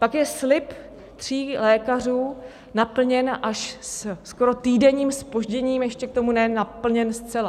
Pak je slib tří lékařů naplněn až se skoro týdenním zpožděním, ještě k tomu ne naplněn zcela.